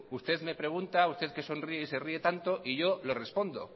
usted me pregunta usted que sonríe y se ríe tanto y yo le respondo